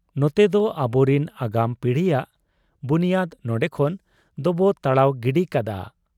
ᱱᱚᱛᱮᱫᱚ ᱟᱵᱚᱨᱤᱱ ᱟᱜᱟᱢ ᱯᱤᱲᱦᱤᱭᱟᱜ ᱵᱩᱱᱤᱭᱟᱹᱫᱽ ᱱᱚᱱᱰᱮ ᱠᱷᱚᱱ ᱫᱚᱵᱚ ᱛᱟᱲᱟᱣ ᱜᱤᱰᱤ ᱠᱟᱫ ᱟ ᱾